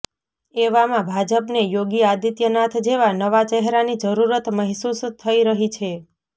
એવામાં ભાજપને યોગી આદિત્યનાથ જેવા નવા ચહેરાની જરૂરત મહેસુસ થઈ રહી છે